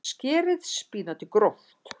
Skerið spínatið gróft.